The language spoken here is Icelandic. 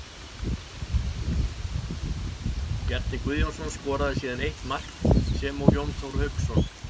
Bjarni Guðjónsson skoraði síðan eitt mark sem og Jón Þór Hauksson.